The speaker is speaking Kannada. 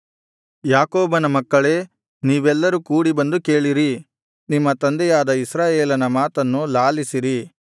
ಯಾಕೋಬನ ಮಕ್ಕಳೇ ನೀವೆಲ್ಲರೂ ಕೂಡಿ ಬಂದು ಕೇಳಿರಿ ನಿಮ್ಮ ತಂದೆಯಾದ ಇಸ್ರಾಯೇಲನ ಮಾತನ್ನು ಲಾಲಿಸಿರಿ